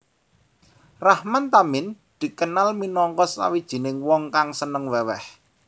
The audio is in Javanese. Rahman Tamin dikenal minangka sawijining wong kang seneng weweh